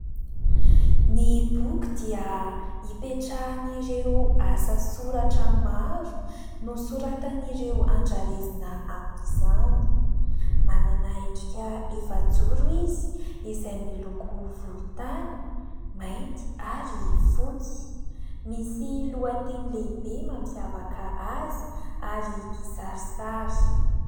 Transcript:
Ny boky dia hipetrahan'ireo asa soratra maro nosoratan'ireo andrarezina amin'izany manana endrika efajoro izy izay miloko volotany mainty ary fotsy misy lohateny lehibe mampiavaka azy ary kisarisary